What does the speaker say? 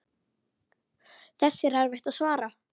Þessu er erfitt að svara.